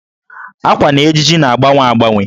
Ákwà na ejiji na-agbanwe agbanwe.